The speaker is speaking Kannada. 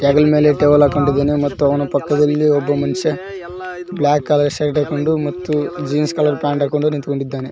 ಹೆಗಲ್ ಮೇಲೆ ಟವಲ್ ಹಾಕ್ಕೊಂಡಿದ್ದಾನೇ ಮತ್ತು ಅವನ ಪಕ್ಕದಲ್ಲಿ ಒಬ್ಬ ಮನುಷ್ಯ ಬ್ಲಾಕ್ ಕಲರ್ ಶರ್ಟ್ ಹಾಕೊಂಡು ಮತ್ತು ಜೀನ್ಸ್ ಕಲರ್ ಪ್ಯಾಂಟ್ ಹಾಕೊಂಡು ನಿಂತ್ಕೊಂಡಿದ್ದಾನೆ.